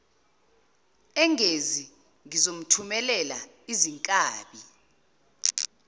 engezi ngizomthumelela izinkabi